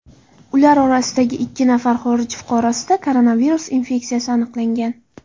Ular orasidagi ikki nafar xorij fuqarosida koronavirus infeksiyasi aniqlangan.